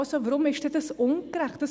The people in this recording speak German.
Also, warum ist das dann ungerecht?